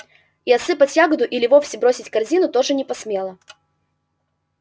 и отсыпать ягоду или вовсе бросить корзину тоже не посмела